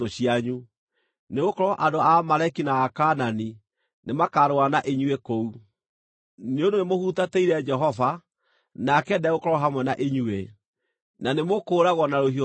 nĩgũkorwo andũ a Amaleki na Akaanani nĩmakarũa na inyuĩ kũu. Nĩ ũndũ nĩ mũhutatĩire Jehova, nake ndegũkorwo hamwe na inyuĩ, na nĩmũkũũragwo na rũhiũ rwa njora.”